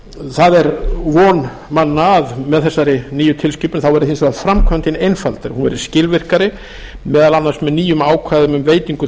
það er von manna að með þessari nýju tilskipun þá verði hins vegar framkvæmdin einfaldari hún verði skilvirkari meðal annars með nýjum ákvæðum um veitingu